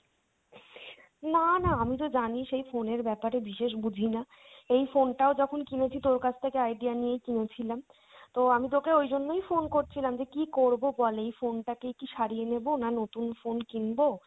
না না আমি তো জানিস এই phone এর ব্যাপারে বিশেষ বুঝিনা, এই phone টাও যখন কিনেছি তোর কাছ থেকে idea নিয়েই কিনেছিলাম, তো আমি তোকে ওইজন্যই phone করছিলাম যে কী করবো বল এই phone টা কেই কি সারিয়ে নেবো না নতুন phone কিনবো,